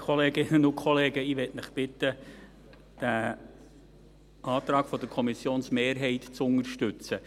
Ich möchte Sie bitten, den Antrag der Kommissionsmehrheit zu unterstützen.